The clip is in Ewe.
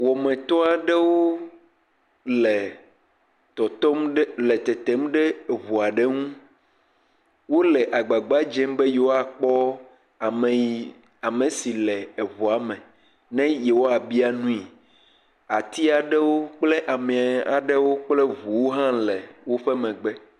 Wɔmetɔ aɖewo, le tɔtɔm, tetem ɖe ŋu aɖe ŋu, wole agbagba dzem be ne yewoakpɔ ame yi ame si le eŋua me ne yewoabia nui. Ati aɖewo kple ame aɖewo kple ŋuwo hã le woƒe megbe.